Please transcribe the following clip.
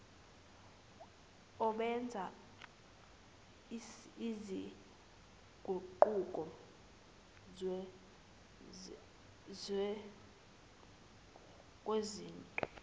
obenza izinguquko kwizinto